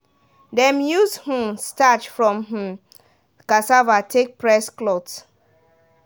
dem use um starch from um cassava take press cloth.